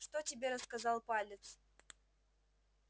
что тебе рассказал палец